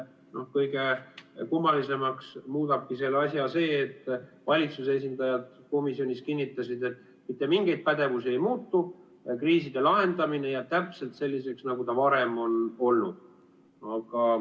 Kõige kummalisemaks muudabki selle asja see, et valitsuse esindajad komisjonis kinnitasid, et mitte mingid pädevused ei muutu, kriiside lahendamine jääb täpselt selliseks, nagu ta varem on olnud.